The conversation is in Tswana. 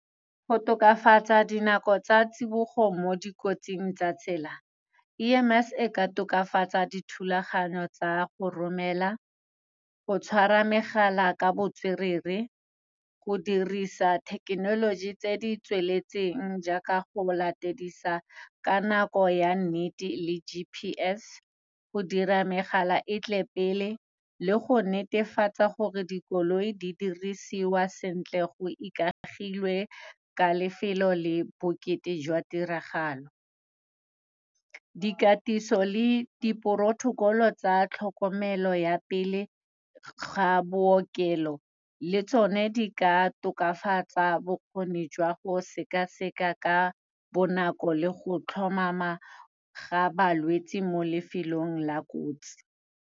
Go tokafatsa dinako tsa tsibogo mo dikotsing tsa tsela, E_M_S e ka tokafatsa dithulaganyo tsa go romela, go tshwara megala ka botswerere, go dirisa thekenoloji tse di tsweletseng, jaaka go latedisa ka nako ya nnete le G_P_S, go dira megala e tle pele, le go netefatsa gore dikoloi di dirisiwa sentle go ikagilwe ka lefelo le bokete jwa tiragalo. Dikatiso le di-protocol-o tsa tlhokomelo ya pele ga bookelo le tsone di ka tokafatsa bokgoni jwa go sekaseka ka bonako le go tlhomama ga balwetsi mo lefelong la kotsi.